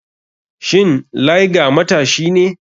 Shin liger matashi ne?